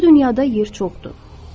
Bu dünyada yer çoxdur.